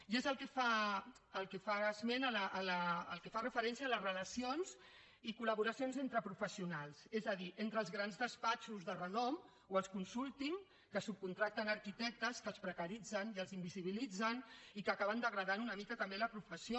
i és el que fa esment el que fa referència a les relacions i col·laboracions entre professionals és a dir entre els grans despatxos de renom o els consulting que subcontracten arquitectes que els precaritzen i els invisibilitzen i que acaben degradant una mica també la professió